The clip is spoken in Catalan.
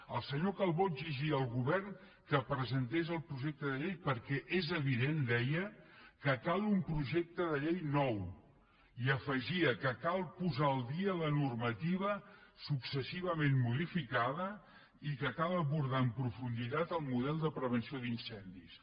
el senyor calbó exigia al govern que presentés el pro·jecte de llei perquè és evident deia que cal un projecte de llei nou i afegia que cal posar al dia la normativa successivament modificada i que cal abor·dar amb profunditat el model de prevenció d’incen·dis